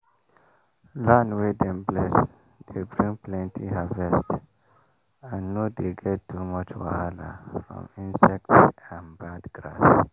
land wey dem bless dey bring plenty harvest and no dey get too much wahala from insects and bad grass.